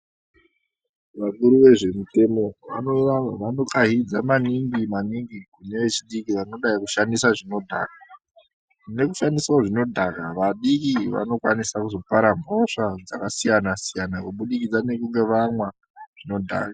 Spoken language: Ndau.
Vakuru vezvemitemo vanokahidza maningi maningi kune vechidiki vanodai kushandisa zvinodhaka. Nekushandisawo zvinodhaka vadiki vanokwanisa kuzopara mhosva dzakasiyana-siyana kubudikidza nekunge vamwa zvinodhaka.